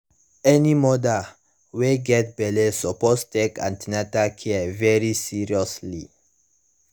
any mother wey wey get belle suppose take an ten atal care very seriously